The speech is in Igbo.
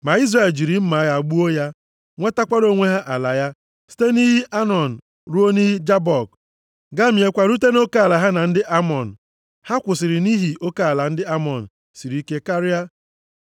Ma Izrel jiri mma agha gbuo ya. Nwetara onwe ha ala ya, site nʼiyi Anọn ruo nʼiyi Jabọk, gamiekwa rute nʼoke ala ha na ndị Amọn, ha kwụsịrị nʼihi nʼoke ala ndị Amọn siri ike karịa.